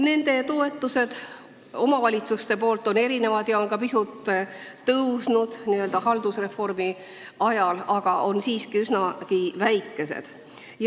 Neile omavalitsustest antavad toetused on erinevad, pisut on need haldusreformi ajal kasvanud, aga need on siiski üsnagi väikesed.